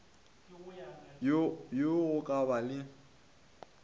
ya go ka ba le